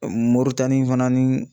Moritani fana ni